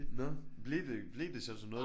Nå blev det blev det så til noget?